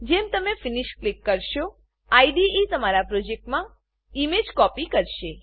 જેમ તમે finish click કરશો આઈડીઈ તમારા પ્રોજેક્ટમાં ઈમેજ કોપી કરશે